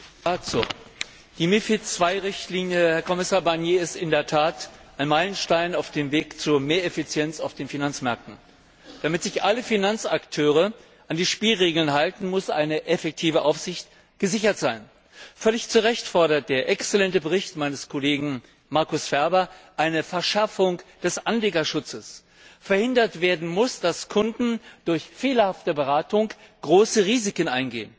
Herr Präsident! Die MiFID II Richtlinie, Herr Kommissar Barnier, ist in der Tat ein Meilenstein auf dem Weg zu mehr Effizienz auf den Finanzmärkten. Damit sich alle Finanzakteure an die Spielregeln halten, muss eine effektive Aufsicht gesichert sein. Völlig zu Recht fordert der exzellente Bericht meines Kollegen Markus Ferber eine Verschärfung des Anlegerschutzes. Verhindert werden muss, dass Kunden durch fehlerhafte Beratung große Risiken eingehen.